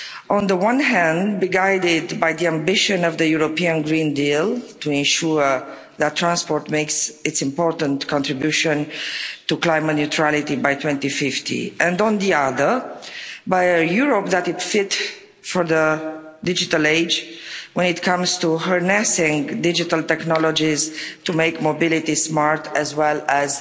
on the one hand, be guided by the ambition of the European Green Deal to ensure that transport makes its important contribution to climate neutrality by 2050 and, on the other, by a Europe that is fit for the digital age when it comes to harnessing digital technologies to make mobility smart as well as